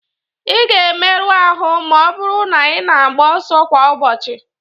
Ị ga-emerụ ahụ ma ọ bụrụ na ị na-agba ọsọ kwa ụbọchị.